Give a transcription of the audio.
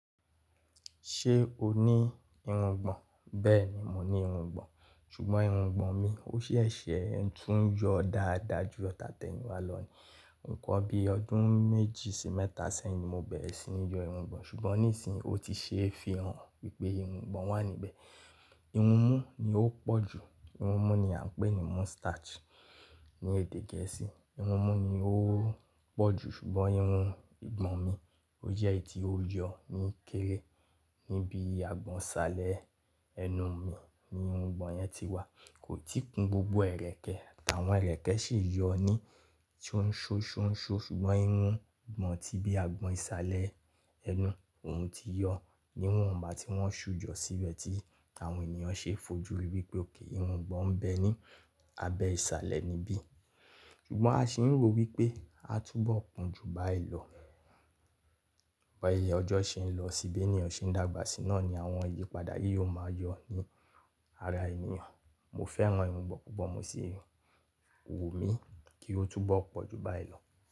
Ṣé o ní irun ìgbọ̀n? Bẹ́ẹ̀ ni, mo ní irun ìgbọ̀n. Ṣùgbọ́n irun ìgbọ̀n mi ó ṣèṣe ń tún yọ dáadáa ju ta tẹ́yin wa lọ́ni. Ǹkan bí ọdún méjì sí mẹ́ta sẹ́yìn ni mo bẹ̀rẹ̀ sí ní yọ irun ìgbọ̀n ṣùgbọ́n níìsín o ti ṣe é fi hàn wípé irun ìgbọ̀n wà níbẹ̀. Irun mú ni ó pọ̀ jù. Irun mú ni à ń pè ní moustache ní èdè Gẹ̀ẹ́sì. Irun mú ni ó pọ̀ jù ṣùgbọ́n irun ìgbọ̀n mi ó jẹ́ etí ó ń yọ ní kéré. Níbi agbọ̀n ìsàlẹ̀ ẹnu mi ni irun ìgbọ̀n yẹn ti wà. Kò tí kún gbogbo ẹ̀rẹ̀kẹ́, àwọn ẹ̀rẹ̀kẹ́ sì ń yọ ní tí ó ń ṣo ṣo ń ṣo ṣùgbọ́n irun ìgbọ̀n ti bí agbọ̀n ìsàlẹ̀ ẹnu òún ti yọ. Ni ìwọ̀nba tí wọ́n ṣú jọ sí bẹ̀ tí àwọn ènìyàn ṣe fojú wípé okay irun ìgbọ̀n ń bẹ ní abẹ ìsàlẹ̀ níbí. Ṣùgbọ́n a sì ń ro wípé a túbọ̀ kún ju báyìí lọ. Bí ọjọ́ ṣe ń lọ sí bí ènìyàn ṣe ń dàgbà sí náà ni àwọn ìyípadà yí yóò máa yọ ní ara ènìyàn. Mo fẹ́ran irun ìgbọ̀n púpọ̀, mo sì wù mí kí ó túbọ̀ pọ̀ ju báyìí lọ.